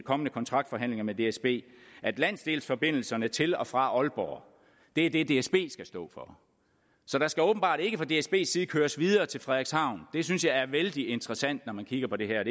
kommende kontraktforhandlinger med dsb at landsdelsforbindelserne til og fra aalborg er det dsb skal stå for så der skal åbenbart ikke fra dsbs side køres videre til frederikshavn det synes jeg er vældig interessant når jeg kigger på det her